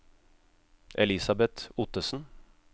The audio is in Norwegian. Elisabeth Ottesen